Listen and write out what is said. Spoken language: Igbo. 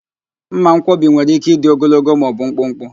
Mmankwọbi nwere ike ịdị ogologo ma o bụ mkpụmkpụ